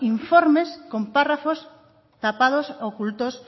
informes con párrafos tapados ocultos